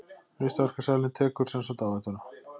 Listaverkasalinn tekur sem sagt áhættuna.